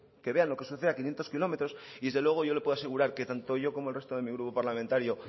que vean lo que sucede a quinientos kilómetros y desde luego yo le puedo asegurar que tanto yo como el resto de mi grupo parlamentario